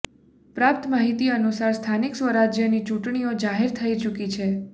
પ્રાપ્ત માહીતી અનુસાર સ્થાનિક સ્વરાજ્યની ચૂટણીઓ જાહેર થઇ ચૂકી છે